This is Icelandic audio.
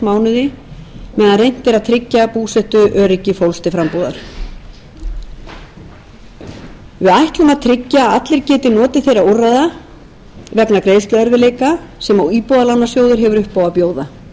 mánuði meðan reynt er að tryggja búsetuöryggi fólks til frambúðar við ætlum að tryggja að allir geti notið þeirra úrræða vegna greiðsluerfiðleika sem íbúðalánasjóður hefur upp á að bjóða góðir